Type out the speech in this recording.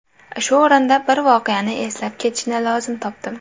Shu o‘rinda bir voqeani eslab ketishni lozim topdim.